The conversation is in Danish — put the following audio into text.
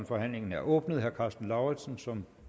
forhandlingen er åbnet herre karsten lauritzen som